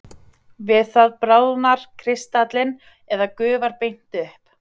Við það bráðnar kristallinn eða gufar beint upp.